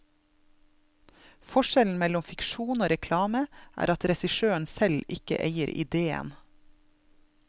Forskjellen mellom fiksjon og reklame er at regissøren selv ikke eier idéen.